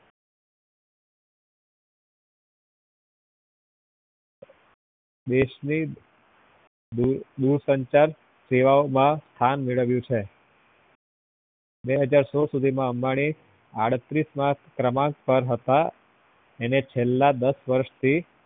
દેશ ની દૂરસંચાર સેવાઓ માં સ્થાન મેળ્વ્યું છે બે હજાર સોળ સુધી માં અંબાની આડત્રીસ ના ક્રમાંક પર હતા અને છેલ્લા દસ વર્ષ થી